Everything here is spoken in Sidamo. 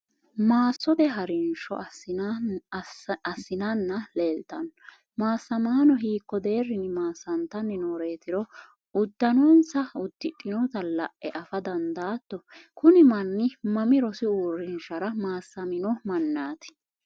maassote harinsho assinanna leeltanno maassamaano hiikko deerrinni maassantanni nooreetiro uddanonsa uddidhinota la'e afa dandaatto? kuni manni mami rosu uurrinshara maassamino mannaati?